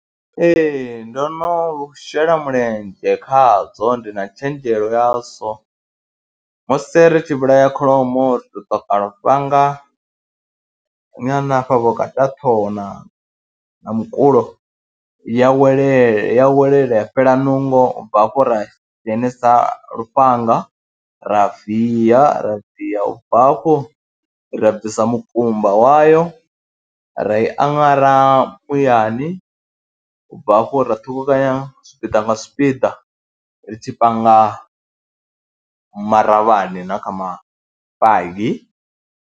Ee, ndo no shela mulenzhe khadzo ndi na tshenzhelo yazwo, musi ri tshi vhulaya kholomo ri tou ṱoka lufhanga nyana hafha vhukati ha ṱhoho na na mukulo ya wele ya welela ya fhela nungo, u bva hafho ra dzhenisa lufhanga ra viya ra viya, u bva hafho ra bvisa mukumba wayo ra i aṅara muyani, u bva hafho ra ṱhukhukanya zwipiḓa nga zwipiḓa ri tshi panga maravhani na kha mafagi.